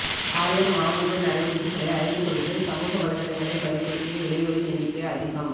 ஆயர் மாமன்ற நடவடிக்கைகளை அறிந்து கொள்வதில் சமூக வலைத்தளங்களை பயன்படுத்திய இளையோரின் எண்ணிக்கை அதிகம்